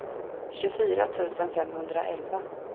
tjugofyra tusen femhundraelva